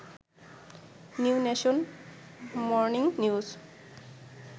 new Nation, Morning news